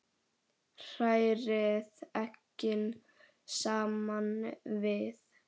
Hrærið eggin saman við.